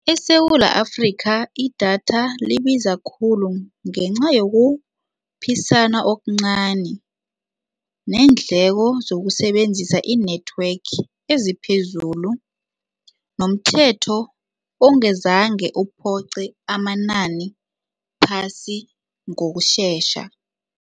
ESewula Afrika idatha libiza khulu ngenca yokuphisana okuncani neendleko zokusebenzisa i-network eziphezulu nomthetho ongezange uphoqe amanani phasi ngokushesha.